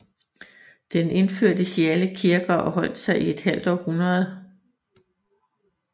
Den indførtes i alle kirker og holdt sig et halvt århundrede